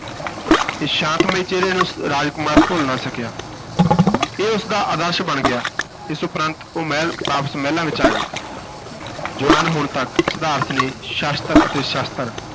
ਇਸ ਸ਼ਾਂਤਮਈ ਚਿਹਰੇ ਨੂੰ ਰਾਜ ਕੁਮਾਰ ਭੁੱਲ ਨਾ ਸਕਿਆ ਇਹ ਉਸ ਦਾ ਆਦਰਸ਼ ਬਣ ਗਿਆ, ਇਸ ਉਪਰੰਤ ਉਹ ਮਹਿਲ ਵਾਪਸ ਮਹਿਲਾਂ ਵਿਚ ਆ ਗਏ ਜੁਆਨ ਹੋਣ ਤਕ ਸਿਧਾਰਥ ਨੇ ਸ਼ਸਤਰ ਅਤੇ ਸ਼ਾਸਤਰ